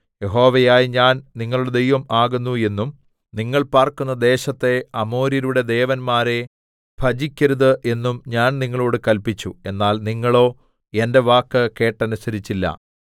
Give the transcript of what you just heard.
യഹോവയായ ഞാൻ നിങ്ങളുടെ ദൈവം ആകുന്നു എന്നും നിങ്ങൾ പാർക്കുന്ന ദേശത്തെ അമോര്യരുടെ ദേവന്മാരെ ഭജിക്കരുത് എന്നും ഞാൻ നിങ്ങളോട് കല്പിച്ചു എന്നാൽ നിങ്ങളോ എന്റെ വാക്ക് കേട്ടനുസരിച്ചില്ല